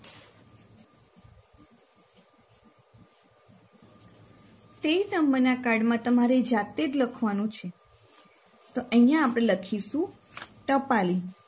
તેર નંબરના card માં તમારે જાતેજ લખવાનું છે તો અહિયાં આપણે લખીશું ટપાલી